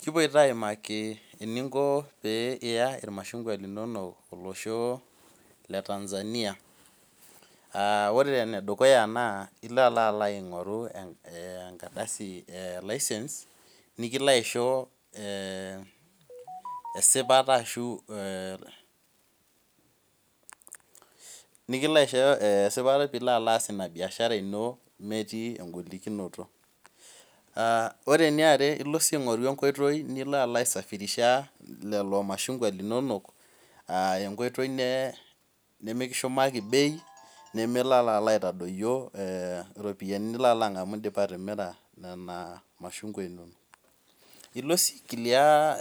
Kipuoita aimaki eninko pee Iya ilmashunkwa linonok olosho le Tanzania Ore enedukuya olo alalo aing'oru enkardasi e license nikilo aisho esipata ashu eeh nikilo aisho esipata piilo alo aas inabiashara ino metii en'golikinoto Ore eniare ilo sii aing'oru enkoitoi nilo aisafirisha lelo mashunkwa linonok, enkoitoi nemekishumaki bei nemelo alo aitadoiyo oropiani nilo alo angamu indipa atimira lelo mashunkwa linono Ilo sii aiclear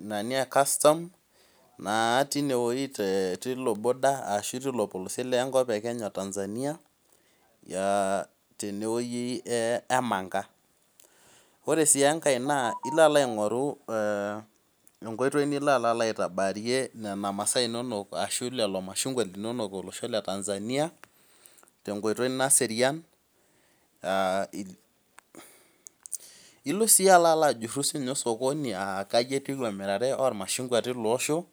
nani ecustom naa tinewei tiloboarder ashu tilopolosiet lenkop e Kenya o Tanzania tenewei emanga Ore sii engae naa ilolalo aing'oru enkoitoi ninyabaarie nena masaa inonok ninapie lelo mashinkwa inonok olosho le Tanzania tenkoitoi naserian Ilo sii alo ajurhu siininye osokoni aa kaji etiu emirare olmashungwa tilo osho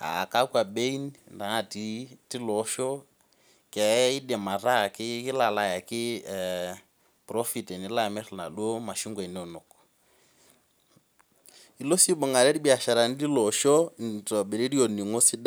aa kakwa bein natii tilo osho keidim ataa kilo alo ayaki profit tenimir inaduo masaa inono Ilo sii aibungare ilbiasharani lilo osho eitobiru olning'o